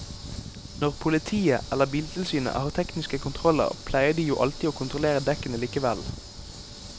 Når politiet eller biltilsynet har tekniske kontroller pleier de jo alltid å kontrollere dekkene likevel.